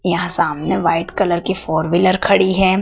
यहां सामने white colour की फोर व्हीलर खड़ी है।